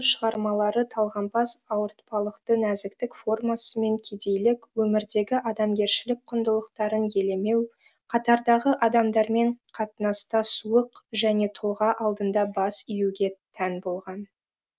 оның алғашқы шығармалары талғампаз ауыртпалықты нәзіктік формасы мен кедейлік өмірдегі адамгершілік құндылықтарын елемеу қатардағы адамдармен қатынаста суық және тұлға алдында бас июге тән болған